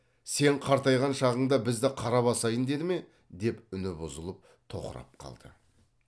сен қартайған шағыңда бізді қара басайын деді ме деп үні бұзылып тоқырап қалды